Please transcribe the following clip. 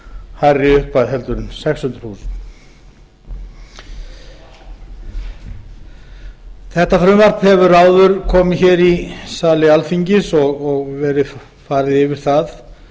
hærri upphæð heldur en sex hundruð þúsund krónur þetta frumvarp hefur áður komið í sali alþingis og verið farið yfir það